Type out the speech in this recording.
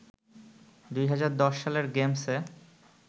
২০১০ সালের গেমসে